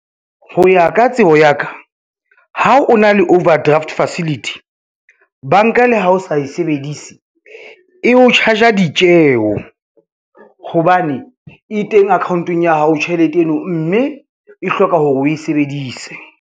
Ho ya ka tsebo ya ka, ha o na le overdraft facility banka le ha o sa e sebedise e o charge-a ditjeo, hobane e teng account-ong ya hao tjhelete eno, mme e hloka hore o e sebedise.